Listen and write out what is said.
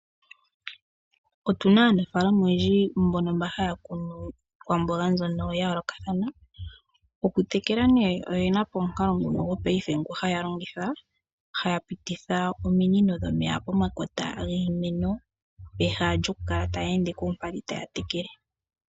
Otuna aanafalama oyendji mbono mba haya kunu iikwamboga mbyono yayolokathana. Okutekela nee oye napo omukalo nguno gwopaife haya longitha. Haya pititha ominino dhomeya pomakota giimeno. Peha lyoku kala taya ende koompadhi taya tekele.